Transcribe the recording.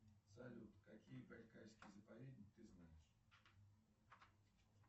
салют какие байкальские заповедники ты знаешь